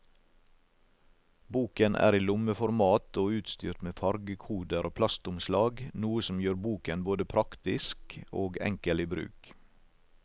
Boken er i lommeformat og utstyrt med fargekoder og plastomslag, noe som gjør boken både praktisk og enkel i bruk.